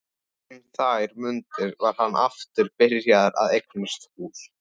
Um þær mundir var hann aftur byrjaður að eignast hús.